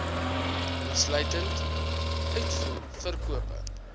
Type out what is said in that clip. insluitend uitvoer verkope